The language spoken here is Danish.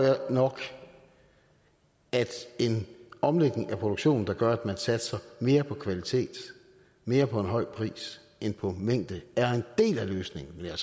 nok at en omlægning af produktionen der gør at man satser mere på kvalitet mere på en høj pris end på mængde er en del af løsningen men jeg